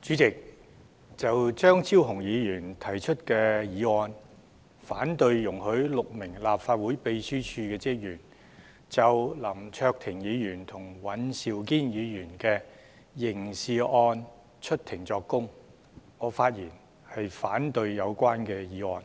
主席，就張超雄議員提出的議案，反對容許6名立法會秘書處職員就林卓廷議員和尹兆堅議員的刑事案出庭作供，我發言反對有關議案。